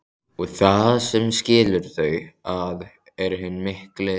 Og það sem skilur þau að er hinn mikli